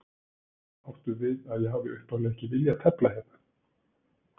Áttu við að ég hafi upphaflega ekki viljað tefla hérna?